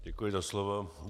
Děkuji za slovo.